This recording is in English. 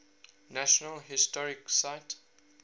national historic site